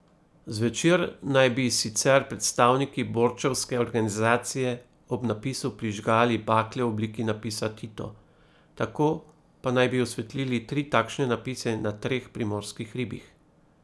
Zvečer naj bi sicer predstavniki borčevske organizacije ob napisu prižgali bakle v obliki napisa Tito, tako pa naj bi osvetlili tri takšne napise na treh primorskih hribih.